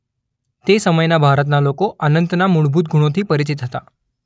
તે સમયના ભારતના લોકો અનંતના મૂળભૂત ગુણોથી પરિચિત હતા.